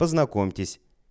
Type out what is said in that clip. познакомьтесь